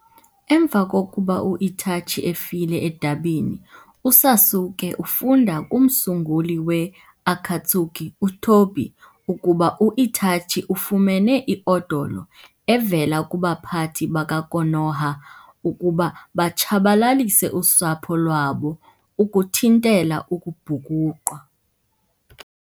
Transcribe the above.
Emva kokuba u-Itachi efile edabini, uSasuke ufunda kumsunguli we-Akatsuki uTobi ukuba u-Itachi ufumene i-odolo evela kubaphathi baka-Konoha ukuba batshabalalise usapho lwabo ukuthintela ukubhukuqwa.